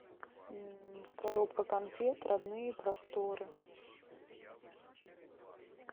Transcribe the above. коробка конфет родные просторы